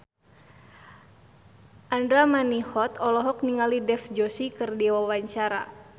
Andra Manihot olohok ningali Dev Joshi keur diwawancara